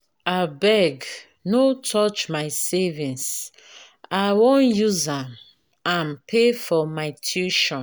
abeg no touch my savings i wan use am am pay for my tuition